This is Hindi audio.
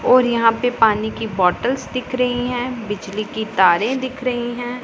और यहां पे पानी की बॉटल्स दिख रही है बिजली की तारे दिख रही हैं।